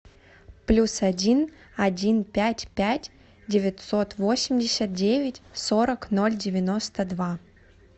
плюс один один пять пять девятьсот восемьдесят девять сорок ноль девяносто два